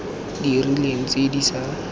di rileng tse di sa